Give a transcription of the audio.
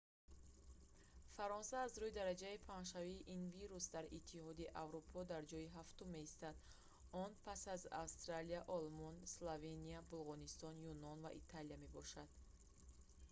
фаронса аз рӯи дараҷаи паҳншавии ин вирус дар иттиҳоди аврупо дар ҷойи ҳафтум меистад он пас аз австрия олмон словения булғористон юнон ва италия мебошад